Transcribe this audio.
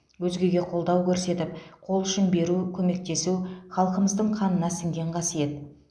өзгеге қолдау көрсетіп қол ұшын беру көмектесу халқымыздың қанына сіңген қасиет